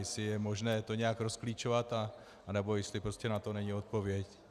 Jestli je možné to nějak rozklíčovat, nebo jestli prostě na to není odpověď.